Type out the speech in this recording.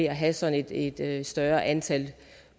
at have sådan et et større antal